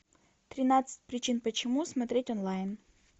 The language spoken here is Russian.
тринадцать причин почему смотреть онлайн